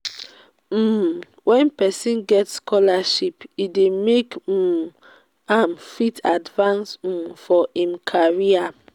um when person get scholarship e dey make um am fit advance um for im career